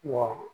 Wa